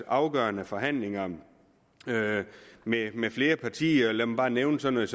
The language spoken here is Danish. afgørende forhandlinger mellem flere partier lad mig bare nævne sådan